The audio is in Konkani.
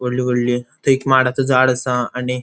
वोडली वोडली थैय एक माडाचो झाड आसा आणि --